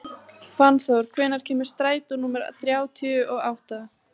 Fannþór, hvenær kemur strætó númer þrjátíu og átta?